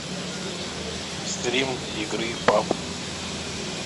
стрим игры пабг